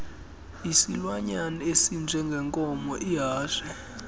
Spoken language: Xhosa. isilwanyana esinjengenkomo ihashe